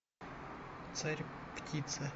царь птица